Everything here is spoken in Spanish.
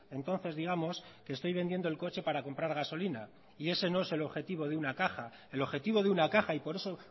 entonces digamos que estoy vendiendo el coche para comprar gasolina y ese no es el objetivo de una caja el objetivo de una caja y por eso